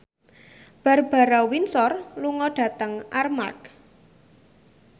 Barbara Windsor lunga dhateng Armargh